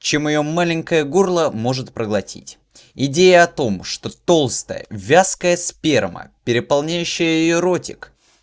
чем её маленькое горло может проглотить идея о том что толстая вязкая сперма переполняющая её ротик